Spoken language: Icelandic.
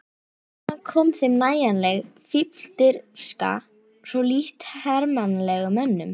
Hvaðan kom þeim nægjanleg fífldirfska, svo lítt hermannlegum mönnum?